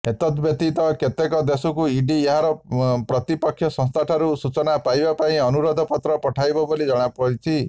ଏତଦ୍ବ୍ୟତୀତ କେତେକ ଦେଶକୁ ଇଡି ଏହାର ପ୍ରତିପକ୍ଷ ସଂସ୍ଥାଠାରୁ ସୂଚନା ପାଇବା ପାଇଁ ଅନୁରୋଧପତ୍ର ପଠାଇବ ବୋଲି ଜଣାଯାଇଛି